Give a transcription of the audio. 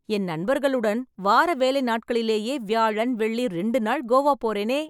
என் நண்பர்களுடன், வார வேலை நாட்களிலேயே, வியாழன், வெள்ளி ரெண்டு நாள் கோவா போறேனே...